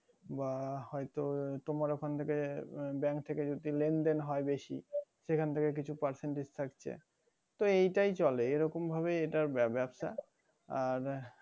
বা হয়তো তোমার ওখান থেকে bank থেকে যদি লেনদেন হয় বেশি সেখান থেকে কিছু percentage থাকছে তো এটাই চলে এরকম ভাবে এটার ব্যবসা আর